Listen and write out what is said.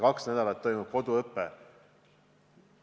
Kahe nädala jooksul toimub koduõpe.